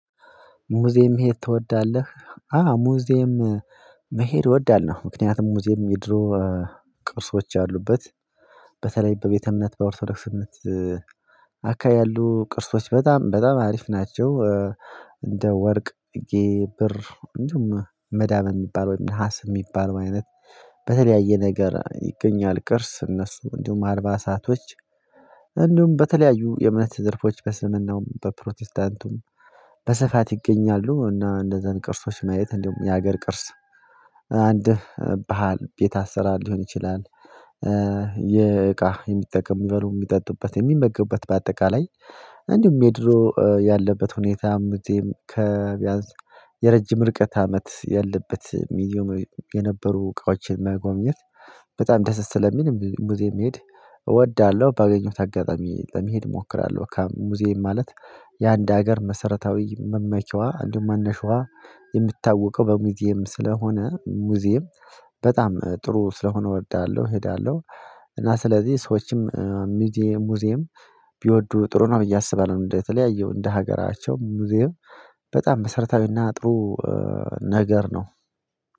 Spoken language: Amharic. ሙዚየም መሄድ ትወዳለህ? አ ሙዚየም መሄድ እወዳለሁ ምክንያቱም ሙዚየም የድሮ ቅርሶች ያሉበት በተለይ በቤተ እምነት በኦርቶዶክስ እምነት አካባቢ ያሉ ቅርሶች በጣም በጣም አሪፍ ናቸው። እንደ ወርቅ ግብር እንደውም መዳም የሚባል ነሀስ የሚባለው አይነት በተለያየ ነገር ይገኛል ቅርስ እነሱ እንዲሁም አልባሳቶች። እንደውም በተለያዩ የእምነት ዘርፎች በእስልምናውም በፕሮቴስታንቱም በሰፋት ይገኛሉ። እና እንደዛን ቅርሶች መየት እንደውም የሀገር ቅርስ አንድ ባህል ቤት አሰራ ሊሆን ይችላል። የእቃ የሚጠቅም ምበሉ የሚጠጡበት የሚመገቡበት በአጠቃላይ እንዲሁም ሜድሮ ያለበት ሁኔታም እዚህም ከቢያንስ የረጅም ርቀት አመት ያለበት ሚዲዮ የነበሩ እቃዎችን መጎብኘት። በጣም ደስ ስለሚል ሙዚየም መሄድ እወዳለሁ ባገኘሁት ታጋጣሚ ለመሄድ እሞክራለሁ። ከሙዚየም ማለት የአንድ ሀገር መሰረታዊ መመቸዋ አንዱን መነሻዋ የምታውቀው በሙዚየም ስለሆነ ሙዚየም በጣም ጥሩ ስለሆነ እወዳለሁ እሄዳለሁ። እና ስለዚህ ሰዎችም ሙዚየም ሙዚየም ቢወዱ ጥሩ ነው ብዬ አስባለሁ ነው። እንደተለያየው እንደ ሀገራቸው ሙዚየም በጣም መሰረታዊና አጥሩ ነገር ነው።